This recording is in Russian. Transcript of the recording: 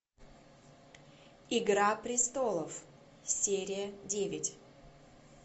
игра престолов серия девять